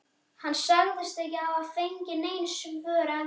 Hann sagðist ekki hafa fengið nein svör ennþá.